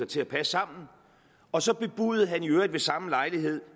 til at passe sammen og så bebudede han i øvrigt ved samme lejlighed